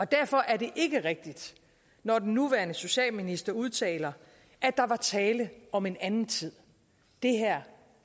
derfor er det ikke rigtigt når den nuværende socialminister udtaler at der var tale om en anden tid det her